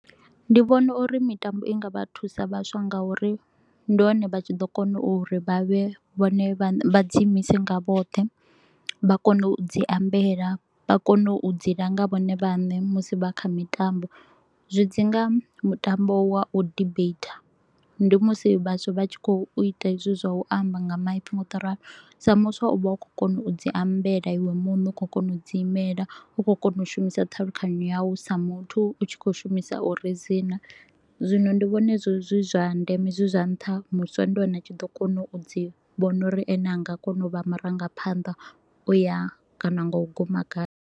Ndi vhona uri mitambo i nga vha thusa vhaswa nga u ri ndi hone vha tshi ḓo kona u ri vha vhe vha ne vha dzi imise nga vhoṱhe, vha kone u dzi ambela, vha kone u dzi langa vhone vhaṋe musi vha kha mitambo. Zwi dzi nga mutambo wa u debater, ndi musi vhaswa vha tshi kho u ita hezwi zwa u amba nga maipfi nga u to u ralo. Sa muswa u vha u kho u kona u dzi ambela iwe muṋe, u kho u kona u dzi imela, u kho u kona u shumisa ṱhalukanyo yau sa muthu u tshi kho u shumisa u ridzina. Zwino ndi vhona hezwi zwi zwa ndeme zwi zwa nṱha muswa ndi hone a tshi ḓo kona u dzi vhona uri ene a nga kona u vha marangaphanḓa u ya kana nga u guma kha.